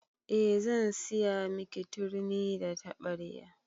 Eh zan siya miki turmi da taɓarya